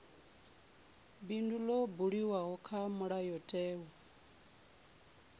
bindu ḽo buliwaho kha mulayotewa